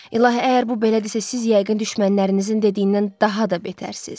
İlahi, əgər bu belədirsə, siz yəqin düşmənlərinizin dediyindən daha da betərsiniz.